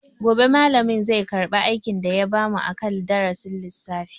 Gobe malamin zai karba aikin da ya bamu akan darasin lissafi.